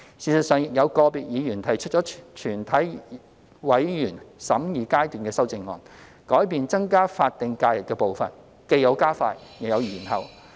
事實上，亦有個別議員提出了全體委員會審議階段修正案，改變增加法定假日的步伐，既有加快，亦有延後。